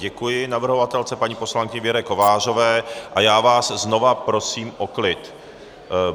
Děkuji navrhovatelce paní poslankyni Věře Kovářová a já vás znovu prosím o klid.